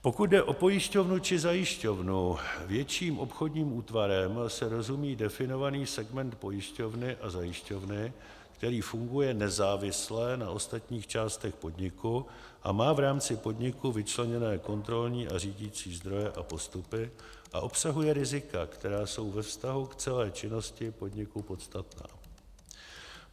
Pokud jde o pojišťovnu či zajišťovnu, větším obchodním útvarem se rozumí definovaný segment pojišťovny a zajišťovny, který funguje nezávisle na ostatních částech podniku a má v rámci podniku vyčleněné kontrolní a řídicí zdroje a postupy a obsahuje rizika, která jsou ve vztahu k celé činnosti podniku podstatná.